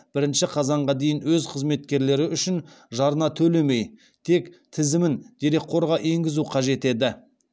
бірінші қазанға дейін өз қызметкерлері үшін жарна төлемей тек тізімін дерекқорға енгізуі қажет еді